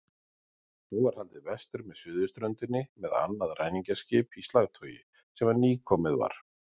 Nú var haldið vestur með suðurströndinni með annað ræningjaskip í slagtogi sem nýkomið var.